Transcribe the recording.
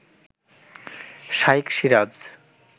Shaikh Siraj